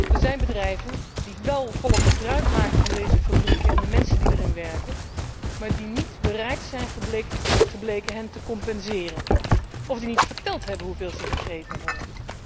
Er zijn bedrijven die wel volop gebruikmaken van deze fabrieken en de mensen die erin werken, maar die niet bereid zijn gebleken hen te compenseren, of die niet verteld hebben hoeveel ze gegeven hebben.